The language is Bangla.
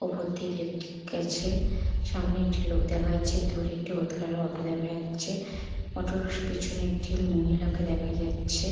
ওপর দিয়ে ইলেকট্রিক গেছে সামনে একটি লোক দেখা যাচ্ছে দূরে একটি হলুদ কালার এর অটো দেখা যাচ্ছে অটোর পিছনে একটি মহিলা কে দেখা যাচ্ছে।